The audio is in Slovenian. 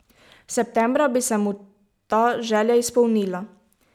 Septembra bi se mu ta želja izpolnila.